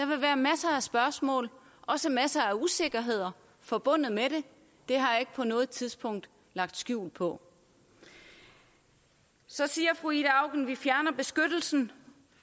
vil være masser af spørgsmål og også masser af usikkerheder forbundet med det det har jeg ikke på noget tidspunkt lagt skjul på så siger fru ida auken at vi fjerner beskyttelsen